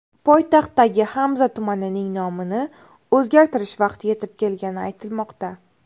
Poytaxtdagi Hamza tumanining nomini o‘zgartirish vaqti yetib kelgani aytilmoqda.